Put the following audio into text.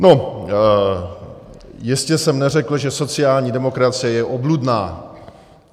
No, jistě jsem neřekl, že sociální demokracie je obludná.